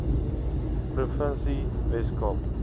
provinsie wes kaap